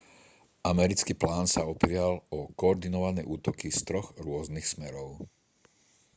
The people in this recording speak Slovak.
americký plán sa opieral o koordinované útoky z troch rôznych smerov